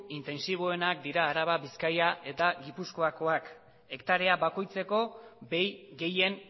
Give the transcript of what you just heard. intentsiboenak dira araba bizkaia eta gipuzkoakoak hektarea bakoitzeko behi gehien